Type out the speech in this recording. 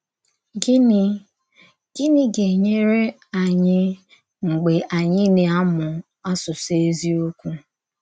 Gịnị Gịnị gà-ènyèrè ànyì mgbe ànyì na-amụ̀ àsụsụ ézíòkwù?